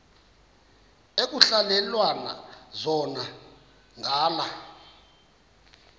ekuhhalelwana zona ngala